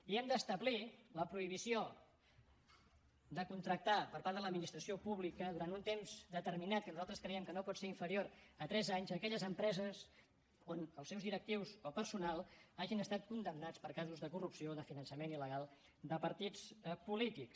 i hem d’establir la prohibició de contractar per part de l’administració pública durant un temps determinat que nosaltres creiem que no pot ser inferior a tres anys aquelles empreses on els seus directius o personal hagin estat condemnats per casos de corrupció o de finançament il·legal de partits polítics